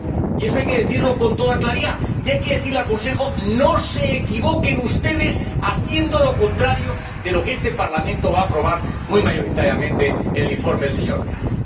Y eso hay que decirlo con toda claridad y hay que decirle al Consejo No se equivoquen ustedes haciendo lo contrario de lo que este Parlamento va a aprobar muy mayoritariamente en el informe del señor Dehaene.